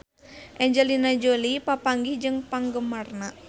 Angelina Jolie papanggih jeung penggemarna